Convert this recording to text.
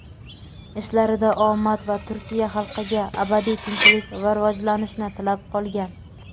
ishlarida omad va Turkiya xalqiga abadiy tinchlik va rivojlanishni tilab qolgan.